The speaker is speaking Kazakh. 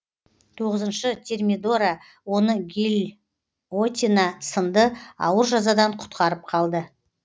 тоғызыншы термидора оны гильотина сынды ауыр жазадан құтқарып қалды